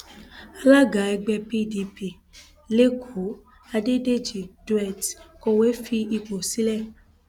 alága ẹgbẹ pdp lẹkọọ adédèjì dohertz kọwé fipò sílẹ